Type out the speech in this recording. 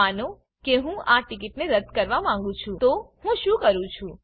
માનો કે હું આ ટીકીટને રદ્દ કરવા માંગું છું તો હું શું કરું છું